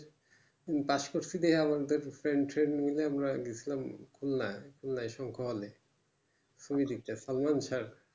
pass করছি দেখা আমাদের friend ট্রেন্ড গুলো গেছিলাম উন্নায় সংকলে